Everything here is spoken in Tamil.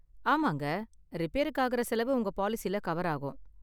ஆமாங்க, ரிபேருக்கு ஆகுற செலவு உங்க பாலிசில கவர் ஆகும்.